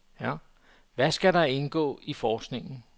Hvad skal der indgå i forskningen?